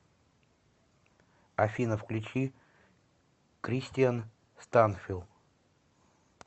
афина включи кристиан станфилл